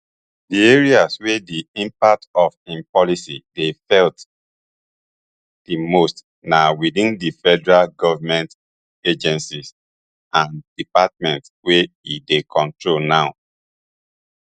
di areas wey di impacts of im policy dey felt di most na within di federal government agencies and departments wey e dey control now